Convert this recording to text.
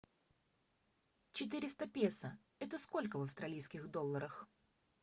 четыреста песо это сколько в австралийских долларах